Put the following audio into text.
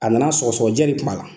A nana sɔgɔsɔgɔjɛ de tun b'a la.